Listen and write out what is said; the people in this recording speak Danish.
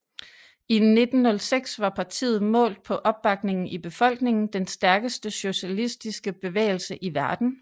I 1906 var partiet målt på opbakningen i befolkningen den stærkeste socialistiske bevægelse i verden